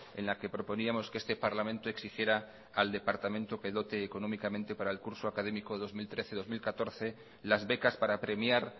en la que proponíamos que este parlamento exigiera al departamento que dote económicamente para el curso académico dos mil trece dos mil catorce las becas para premiar